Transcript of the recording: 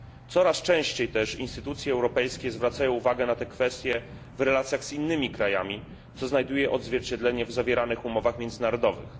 Coraz częściej też instytucje europejskie zwracają uwagę na te kwestie w relacjach z innymi krajami, co znajduje odzwierciedlenie w zawieranych umowach międzynarodowych.